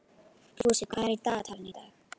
Fúsi, hvað er í dagatalinu í dag?